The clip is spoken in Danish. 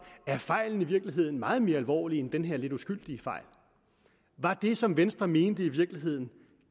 fejlen i virkeligheden er meget mere alvorlig end den her lidt uskyldige fejl var det som venstre mente i virkeligheden